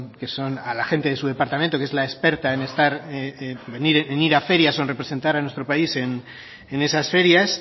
que son a la gente de su departamento que es la experta en estar en ir a ferias o en representar a nuestro país en esas ferias